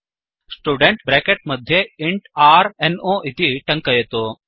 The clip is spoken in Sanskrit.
स्टुडेन्ट् ब्रेकेट् मध्ये इन्ट् r no इति टङ्कयतु